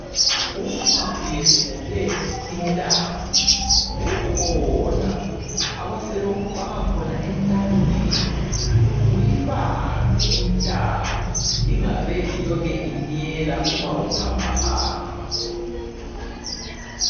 Uma uyephuke intamo, kukhona abasebekufaka khona entanyeni ukuthi kuyibambe intamo ingabe ilokhe inyela uma uhamba hamba.